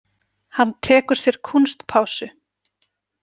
Hann tekur sér kúnstpásu.